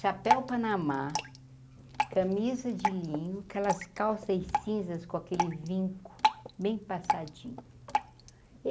Chapéu panamá, camisa de linho, aquelas calças e cinzas com aquele vinco, bem passadinho.